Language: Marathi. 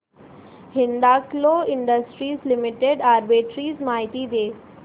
हिंदाल्को इंडस्ट्रीज लिमिटेड आर्बिट्रेज माहिती दे